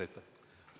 Aitäh!